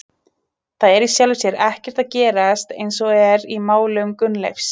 Það er í sjálfu sér ekkert að gerast eins og er í málum Gunnleifs.